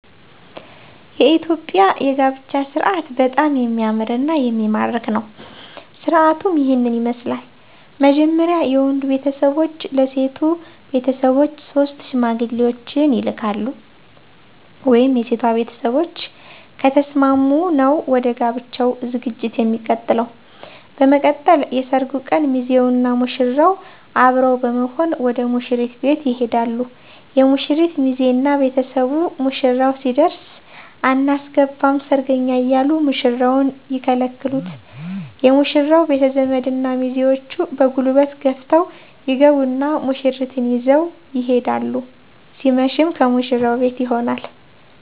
የኢትዮጵያ የጋብቻ ስርአት በጣም የሚያምርና የሚማርክ ነው። ስርአቱም ይህን ይመስላል። መጀመርያ የወንዱ ቤተሰቦች ለሴቶ ቤተሰቦች ሶስት ሽማግሌዎችን ይልካሉ። (የሴቷ ቤተሰቦች ከተስማሙ ነው ወደ ጋብቻው ዠግጂት የሚቀጥለው) በመቀጠል የሰርጉ ቀን ሚዜውና ሙሽራው አብረው በመሆን ወደ ሙሽሪት ቤት ይሄዳሉ የሙሽሪት ሚዜ እና ቤተሰቡ ሙሽራው ሲደርስ አናስገባም ሰርገኛ እያሉ ሙሽራውን ይከለክሉት የሙሽራው ቤተዘመድ እና ሚዜዎቹ በጉልበት ገፍተው ይገቡና ሙሽሪትን ይዘው ይሄዳሉ ሲመሽም ከሙሽራው ቤት ይሆናል